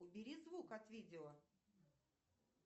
убери звук от видео